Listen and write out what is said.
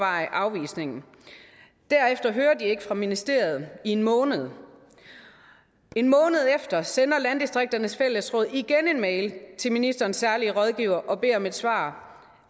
afvisningen derefter hører de ikke fra ministeriet i en måned en måned efter sender landdistrikternes fællesråd igen en mail til ministerens særlige rådgiver og beder om et svar